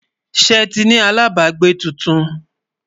ṣé tí ní alábágbé túntùn?